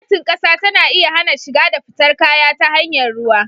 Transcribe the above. Gwamnatin ƙasa tana iya hana shiga da fitar kaya ta hanyar ruwa.